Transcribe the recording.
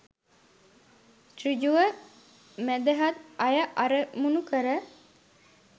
සෘජුව මැදහත් අය අරමුණු කර